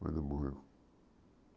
Quando morreu.